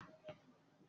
Sé a nílò obì fún ìsìn?